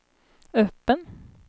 öppen